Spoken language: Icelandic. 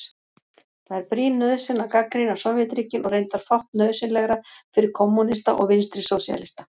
Það er brýn nauðsyn að gagnrýna Sovétríkin og reyndar fátt nauðsynlegra fyrir kommúnista og vinstrisósíalista.